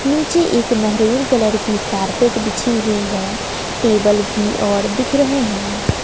नीचे एक मेहरून कलर की कारपेट बिछी हुई है टेबल भी और दिख रहे हैं।